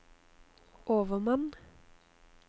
overmann